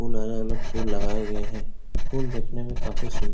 फूल अलग अलग फूल लगाए लगाए गए हैं। फूल देखने में काफी सुन् --